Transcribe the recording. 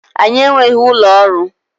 Anyị enweghị ụlọ ọrụ